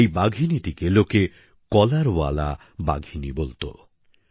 এই বাঘিনীটিকে লোকে কলার ওয়ালি বাঘিনী বলতো